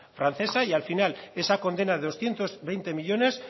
francesa y al final esa condena de doscientos veinte millónes